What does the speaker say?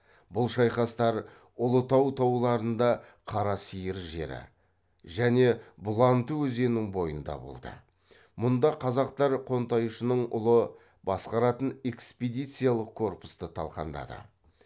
бұл шайқастар ұлытау тауларында қарасиыр жері және бұланты өзенінің бойында болды мұнда қазақтар қонтайшының ұлы басқаратын экспедициялық корпусты талқандады